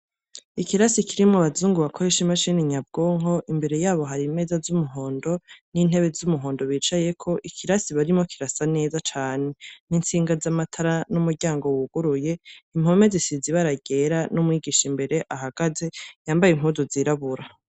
Ikirasi kirimwo abazungu bakoresha imashini nyabwonko, imbere yabo hari imeza z'umuhondo n'intebe z'umuhondo bicayeko. Ikirasi barimwo kirasa neza cane n'intsinga z'amatara n'umuryango wuguruye, impome zisize ibara ryera n'umwigisha imbere ahagaze , yambaye impuzu zirabura.